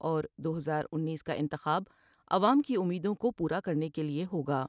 اور دو ہزار انیس کا انتخاب عوام کی امیدوں کو پورا کرنے کے لئے ہوگا ۔